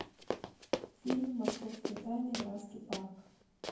фильм московские тайны графский парк